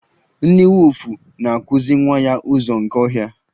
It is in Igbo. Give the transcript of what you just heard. Nne wulfu na-akụzi nwa ya ụzọ nke ọhịa.